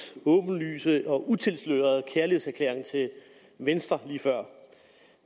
åbenlyse og utilslørede kærlighedserklæring til venstre lige før